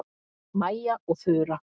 Mæja og Þura